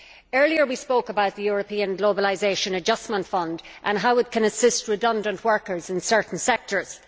Earlier, we spoke about the European Globalisation Adjustment Fund and how it can assist redundant workers in certain sectors.